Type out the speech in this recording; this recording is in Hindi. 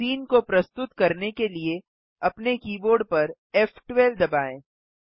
सीन को प्रस्तुत करने के लिए अपने कीबोर्ड पर फ़12 दबाएँ